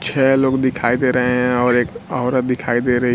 छह लोग दिखाई दे रहे हैं और एक औरत दिखाई दे रही--